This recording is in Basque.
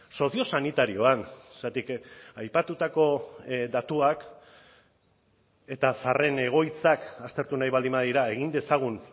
soziosanitarioan zergatik aipatutako datuak eta zaharren egoitzak aztertu nahi baldin badira egin dezagun